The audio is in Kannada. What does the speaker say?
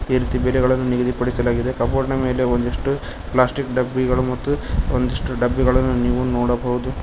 ಇದೆ ರೀತಿ ಬೆಲೆಗಳನ್ನು ನಿಗದಿಪಡಿಸಲಾಗಿದೆ ಕಬೋರ್ಡ್ ಮೇಲೆ ಒಂದಿಸ್ಟು ಪಾಸ್ಟಿಕ್ ಡಬ್ಬಿಗಳು ಮತ್ತು ಒಂದಿಷ್ಟು ಡಬ್ಬಿಗಳನ್ನು ನೀವು ನೋಡಬಹುದು.